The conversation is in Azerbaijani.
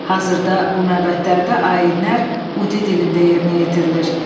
Hazırda bu məbədlərdə ayinlər Udi dilində yerinə yetirilir.